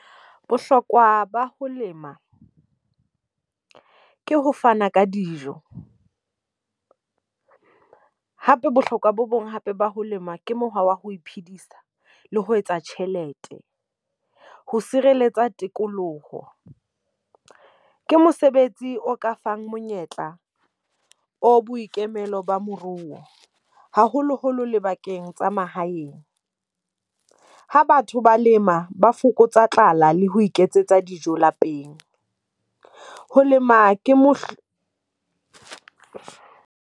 Bohlokwa ba ho lema ke ho fana ka dijo. Hape bohlokwa bo bong hape ba ho lema ke mokgwa wa ho iphidisa le ho etsa tjhelete. Ko sireletsa tikoloho. Ke mosebetsi o ka fang monyetla o boikemelo ba moruo, haholoholo le bakeng tsa a mahaeng. Ha batho ba lema ba fokotsa tlala le ho iketsetsa dijo lapeng. Ho lema ke mo .